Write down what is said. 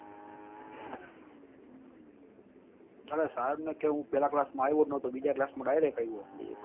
અને સાહેબ ને કે હું પેલા class માં આયવો જ નતો બીજા class માં direct આયવો